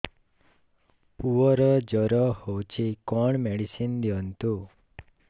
ପୁଅର ଜର ହଉଛି କଣ ମେଡିସିନ ଦିଅନ୍ତୁ